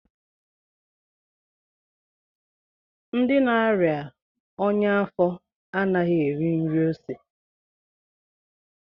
Ndị na-aria ọnya afo anaghị eri nri ose